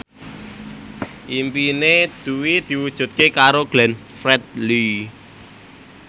impine Dwi diwujudke karo Glenn Fredly